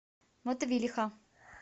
мотовилиха